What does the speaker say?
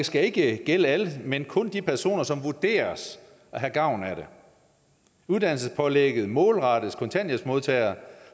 skal ikke gælde alle men kun de personer som vurderes at have gavn af det uddannelsespålægget målrettes kontanthjælpsmodtagere